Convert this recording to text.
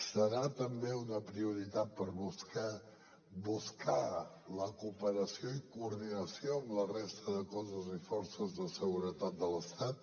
serà també una prioritat per buscar la cooperació i coordinació amb la resta de cossos i forces de seguretat de l’estat